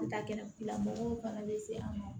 Ka kɛnɛlamɔgɔw fana bɛ se an ma